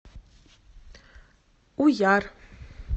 уяр